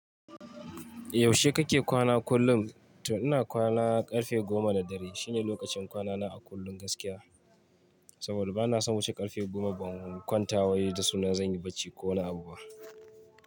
Yaushe kake kwana kullum? To ina kwana ƙarfe goma na dare. Shi ne lokacin kwana na a kullum gaskiya. Saboda bana son wuce ƙarfe goma ban kwanta wai da sunan zan yi bacci ko wani abu ba.